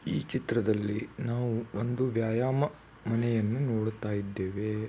ಈ ಚಿತ್ರದಲ್ಲಿ ನಾವು ಒಂದು ವ್ಯಾಯಾಮ ಮನೆಯನ್ನು ನೋಡುತ್ತಾ ಇದ್ದೆವೆ .